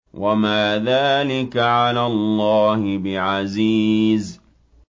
وَمَا ذَٰلِكَ عَلَى اللَّهِ بِعَزِيزٍ